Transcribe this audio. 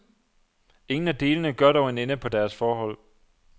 Ingen af delene gør dog en ende på deres forhold.